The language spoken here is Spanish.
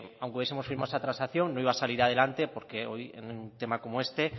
aunque hubiesemos firmado esa transacción no iba a salir adelante porque hoy en un tema como este